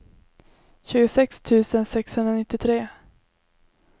tjugosex tusen sexhundranittiotre